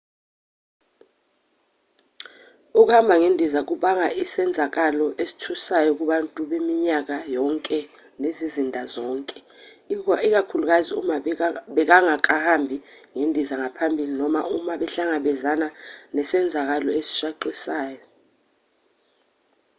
ukuhamba ngendiza kungaba isenzakalo esithusayo kubantu beminyaka yonke nezizinda zonke ikakhulukazi uma bengakahambi ngendiza ngaphambili noma uma behlangabezane nesenzakalo esishaqisayo